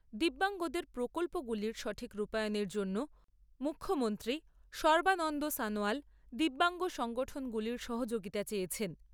দিব্যাঙ্গদের প্রকল্পগুলির সঠিক রূপায়নের জন্য মুখ্যমন্ত্রী সর্বানন্দ সনোয়াল দিব্যাঙ্গ সংগঠনগুলির সহযোগিতা চেয়েছেন।